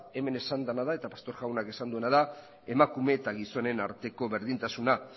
hemen esan dena da eta pastor jaunak esan duena da emakumeen eta gizonen arteko berdintasuna